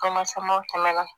Kɔnɔ sama tɛmɛna